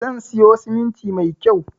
Zan siyo siminti mai kyau